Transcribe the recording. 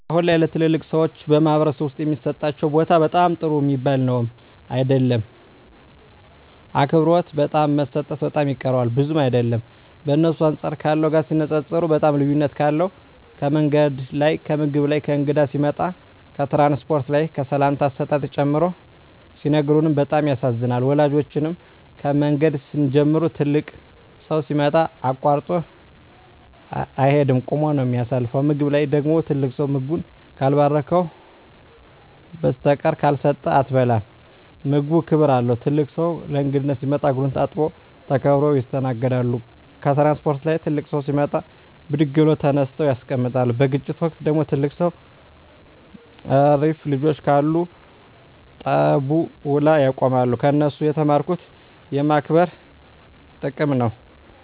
አሁን ላይ ለተላላቅ ሰዎች በማኅበረሰብ ዉስጥ የሚሠጣቸው ቦታ በጣም ጥሩ ሚባል ነዉም አይደለም አክብሮት በጣም መሰጠት በጣም ይቀረዋል ብዙም አይደለም በእነሱ አንጻር ካለው ጋር ሲነጻጽጽሩት በጣም ልዩነት አለዉ ከምንገድ ላይ ከምግብ ላይ ከእንግዳ ሲመጣ ከትራንስፖርት ላይ ከሰላምታ አሰጣጥ ጨምሮ ሲነግሩን በጣም ያሳዝናል ወላጆቻችን ከምንገድ ሲንጀምሩ ትልቅ ሠው ሲመጣ አቃርጦ አይቂድም ቁመ ነው ምታሳልፈው ከምግብ ላይ ደግሞ ትልቅ ሰው ምግቡን ካልባረከዉና ብራቂ ካልሰጠ አትበላም ምግቡም ክብር አለው ትልቅ ሰው ለእንግዳነት ሲመጣ እግሩን ታጥቦ ተከብረው ይስተናገዳሉ ከትራንስፖርት ላይ ትልቅ ሰው ሲመጣ ብድግ ብለው ተነስተው ያስቀምጣሉ በግጭት ወቅት ደግሞ ትልቅ ሰው እረፍ ልጆቸ ካሉ ጠቡ ውላ ያቆማሉ ከነሱ የተማርኩት የማክበር ጥቅም ነው